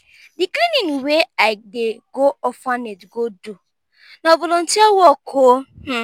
di cleaning wey i dey go orphanage go do na volunteer work o.